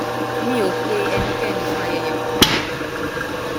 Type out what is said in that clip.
mi ò pe ẹnikẹni fún ayẹyẹ kankan